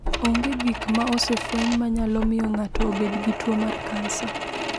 Onge gik ma osefweny ma nyalo miyo ng’ato obed gi tuo mar kansa.